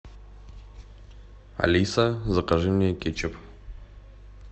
алиса закажи мне кетчуп